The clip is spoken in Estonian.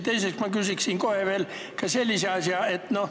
Teiseks küsin ma kohe veel sellise asja.